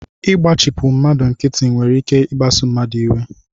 Ịgbachipu mmadụ nkịtị nwere ike ikpasu mmadụ iwe